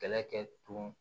Kɛlɛ kɛ tun